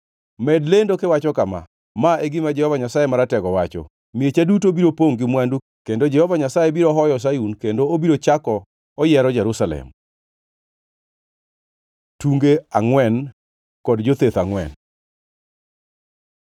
“Med lendo kiwacho kama: Ma e gima Jehova Nyasaye Maratego wacho: ‘Miecha duto biro pongʼ gi mwandu, kendo Jehova Nyasaye biro hoyo Sayun kendo obiro chako oyiero Jerusalem!’ ” Tunge angʼwen kod jotheth angʼwen